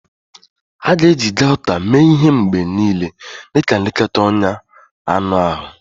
A ga-eji Gauta mee ihe mgbe niile dị ka nlekọta ọnya anụ ahụ.